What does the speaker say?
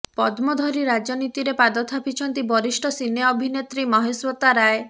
ପଦ୍ମ ଧରି ରାଜନୀତିରେ ପାଦ ଥାପିଛନ୍ତି ବରିଷ୍ଠ ସିନେ ଅଭିନେତ୍ରୀ ମହାଶ୍ୱେତା ରାୟ